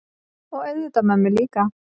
Og auðvitað mömmu líka.